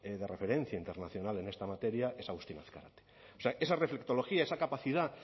de referencia internacional en esta materia es agustín azkarate o sea esa reflectología esa capacidad